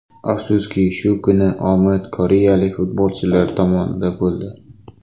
Afsuski shu kuni omad koreyalik futbolchilar tomonida bo‘ldi.